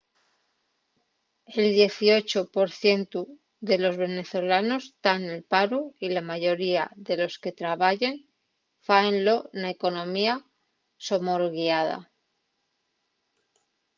el dieciocho por cientu de los venezolanos tán nel paru y la mayoría de los que trabayen fáenlo na economía somorguiada